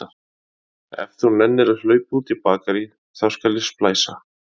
Ef þú nennir að hlaupa út í bakarí, þá skal ég splæsa.